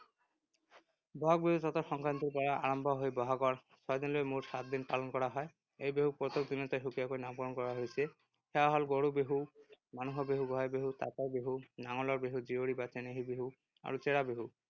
বহাগ বিহু চ’তৰ সংক্ৰান্তিৰ পৰা আৰম্ভ হৈ বহাগৰ ছয় দিনলৈ মুঠ সাতদিন পালন কৰা হয়। এই বিহুক প্ৰত্যেক দিনতে সুকীয়াকৈ নামকৰণ কৰা হৈছে। সেয়া হ’ল গৰু বিহু, মানুহ বিহু, গোঁসাই বিহু, তাঁতৰ বিহু, নাঙলৰ বিহু, জীয়ৰী বা চেনেহী বিহু আৰু চেৰা বিহু।